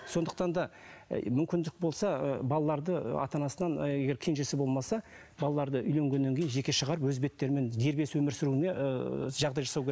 сондықтан да і мүмкіндік болса ы балаларды ата анасынан егер кенжесі болмаса балаларды үйленгеннен кейін жеке шығарып өз беттерімен дербес өмір сүруіне ыыы жағдай жасау